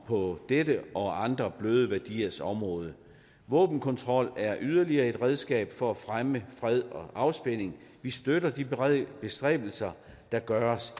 på dette og andre bløde værdiers område våbenkontrol er yderligere et redskab for at fremme fred og afspænding vi støtter de bestræbelser der gøres